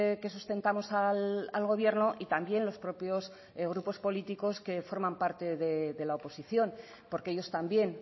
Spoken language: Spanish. que sustentamos al gobierno y también los propios grupos políticos que forman parte de la oposición porque ellos también